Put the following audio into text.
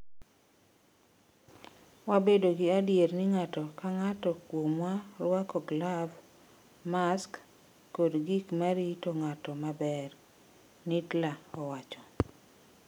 Wabedo gi adier ni ng’ato ka ng’ato kuomwa rwako glav, mask kod gik ma rito ng’ato maber,'' Nittla wacho.